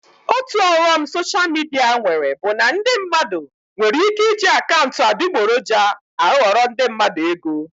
Otu ọghọm soshal midia nwere bụ na ndị mmadụ nwere ike iji akaụntụ adịgboroja aghọrọ ndị mmadụ ego